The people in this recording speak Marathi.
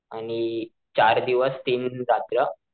आणि चार दिवस तीन रात्र.